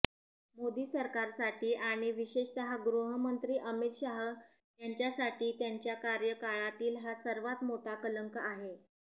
मोदी सरकारसाठी आणि विशेषतः गृहमंत्री अमित शाह यांच्यासाठी त्यांच्या कार्यकाळातील हा सर्वांत मोठा कलंक आहे